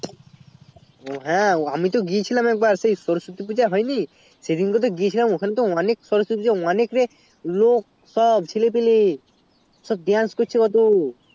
হ্যাঁ আমি তো গিয়েছিলাম এক বার তো সরস্বতী পুজো হয় নি সেই দিন কে তো গিয়েছিলাম ওখানে তো অনেক কিছু অনেক লোক সব ছেলে পেলে সব dance করছে কত